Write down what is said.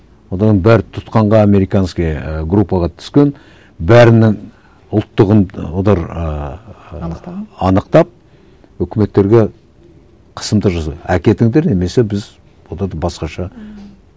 олардың бәрі тұтқынға американская і группаға түскен бәрінің олар ыыы анықтаған анықтап өкіметтерге қысымды әкетіңдер немесе біз оларды басқаша